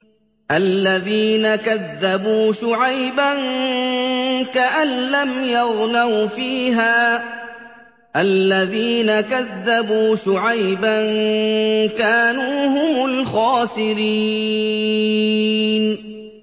الَّذِينَ كَذَّبُوا شُعَيْبًا كَأَن لَّمْ يَغْنَوْا فِيهَا ۚ الَّذِينَ كَذَّبُوا شُعَيْبًا كَانُوا هُمُ الْخَاسِرِينَ